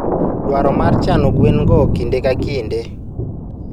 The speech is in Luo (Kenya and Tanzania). Dwaro mar chano gwen go kinde ka kinde.